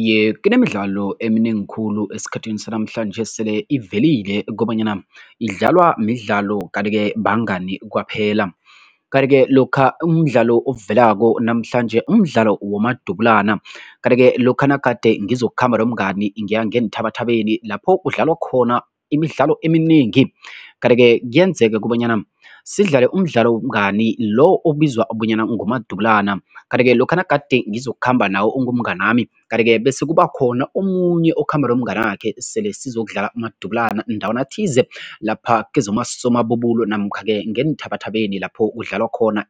Iye, kunemidlalo eminengi khulu esikhathini sanamhlanje sele ivelile kobanyana idlalwa midlalo kanti-ke bangani kwaphela. Kanti-ke lokha umdlalo ovelako namhlanje, umdlalo womadubulana kanti-ke lokha nagade ngizokukhamba nomngani ngiya ngeenthabathabeni lapho kudlalwa khona imidlalo eminengi kanti-ke kuyenzeka kobanyana sidlale umdlalo wobungani lo obizwa bonyana ngumadubulana kanti ke lokha nagade ngizokukhamba nawe ungumnganami kanti-ke bese kubakhona omunye okhamba nomnganakhe sele sizokudlala umadubulana ndawana thize lapha kezomasomabubulo namkha-ke ngeenthabathabeni lapho kudlalwa khona